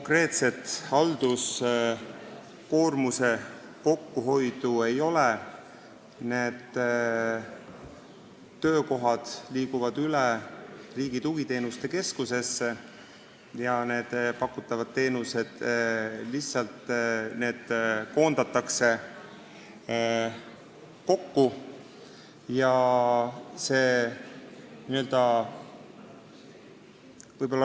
Praegu otsest halduskoormuse kokkuhoidu ei tule: need töökohad liiguvad Riigi Tugiteenuste Keskusesse ja pakutavad teenused koondatakse lihtsalt kokku.